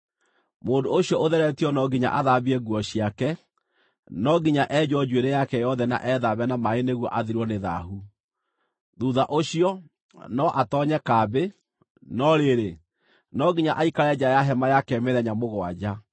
“Mũndũ ũcio ũtheretio no nginya athambie nguo ciake, no nginya enjwo njuĩrĩ yake yothe na ethambe na maaĩ nĩguo athirwo nĩ thaahu. Thuutha ũcio, no atoonye kambĩ; no rĩrĩ, no nginya aikare nja ya hema yake mĩthenya mũgwanja.